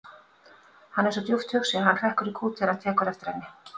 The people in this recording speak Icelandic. Hann er svo djúpt hugsi að hann hrekkur í kút þegar hann tekur eftir henni.